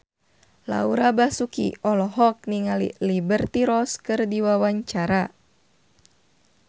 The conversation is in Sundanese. Laura Basuki olohok ningali Liberty Ross keur diwawancara